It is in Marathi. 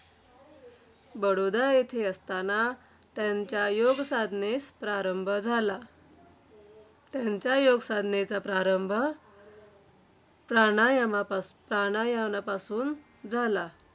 बडोदा येथे असताना त्यांच्या योगसाधनेस प्रारंभ झाला. त्यांच्या योगसाधनेचा प्रारंभ प्राणायामापासू प्राणायामापासून झाला.